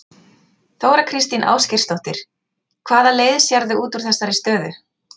Þóra Kristín Ásgeirsdóttir: Hvaða leið sérðu út úr þessari stöðu?